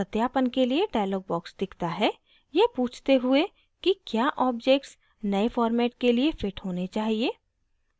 सत्यापन के लिए dialog box दिखता है यह पूछते हुए कि क्या objects नए format के लिए fit होने चाहिए